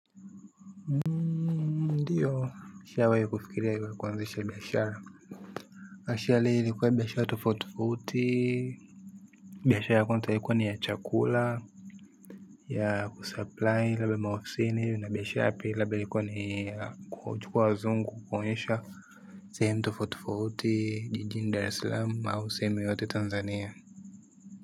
Ndio nishawahi kufikiri hivyo kuanzisha biashara actuali ilikuwa biashara tofauti tofauti biashara ya kwanza ilikuwa ni ya chakula ya kusupply labda maofisini na biashara ya pili labda ilikuwa ni kuchukua wazungu kuwaonyesha sehemu tofauti tofuuti jijini dar eslamu au sehemu yoyote tanzania.